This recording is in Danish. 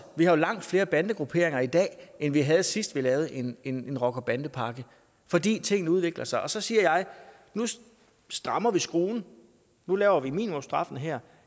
vi har jo langt flere bandegrupperinger i dag end vi havde sidst vi lavede en en rocker bande pakke fordi tingene udvikler sig og så siger jeg nu strammer vi skruen nu hæver vi minimumsstraffen her